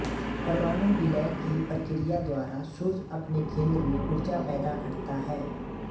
परमाणु विलय की प्रक्रिया द्वारा सूर्य अपने केंद्र में ऊर्जा पैदा करता है